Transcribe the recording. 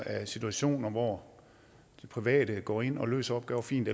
af situationer hvor private går ind og løser opgaver fint